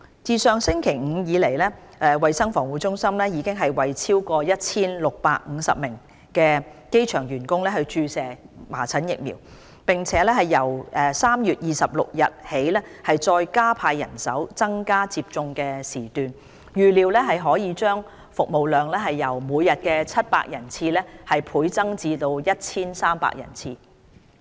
自上星期五至今，衞生防護中心已為超過 1,650 名機場員工注射麻疹疫苗，並由3月26日起再加派人手及增加接種時段，預料可將服務量由每天700人次倍增至 1,300 人次。